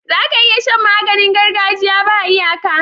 Zaka iya Shan maganin gargajiya ba iyaka